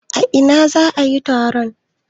A ina za a yi taro?